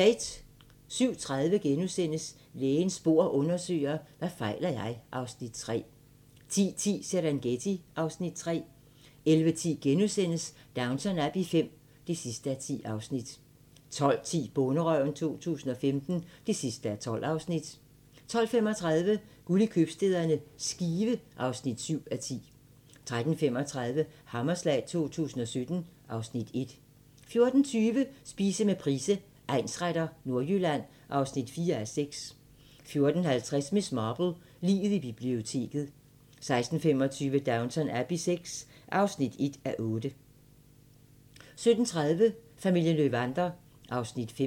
07:30: Lægens bord undersøger: Hvad fejler jeg? (Afs. 3)* 10:10: Serengeti (Afs. 3) 11:10: Downton Abbey V (10:10)* 12:10: Bonderøven 2015 (12:12) 12:35: Guld i købstæderne – Skive (7:10) 13:35: Hammerslag 2017 (Afs. 1) 14:20: Spise med Price, egnsretter: Nordjylland (4:6) 14:50: Miss Marple: Liget i biblioteket 16:25: Downton Abbey VI (1:8) 17:30: Familien Löwander (Afs. 5)